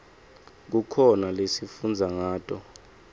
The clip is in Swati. kukhona lesifundza ngato